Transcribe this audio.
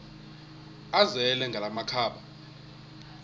azele ngala makhaba